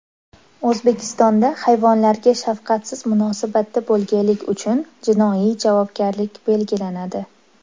O‘zbekistonda hayvonlarga shafqatsiz munosabatda bo‘lganlik uchun jinoiy javobgarlik belgilanadi.